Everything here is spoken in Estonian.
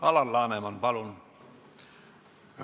Alar Laneman, palun!